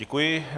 Děkuji.